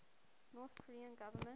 north korean government